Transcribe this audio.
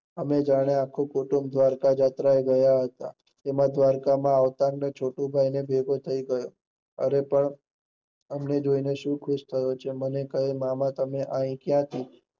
અનેં જાણે આખું કુટુંબ દ્વારકા જાત્રા ગયા હતા, તેના દ્વારકા માં આવતા છોટુ નો ભેટો થઇ ગયો હતો, અરે પણ એમને જોઈ ને શું ખશ થાવ છો? મને કહે મામા તમ એહિ થી